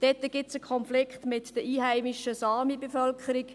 Dort gibt es einen Konflikt mit der einheimischen Sami-Bevölkerung.